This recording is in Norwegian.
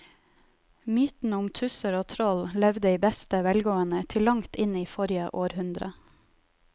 Mytene om tusser og troll levde i beste velgående til langt inn i forrige århundre.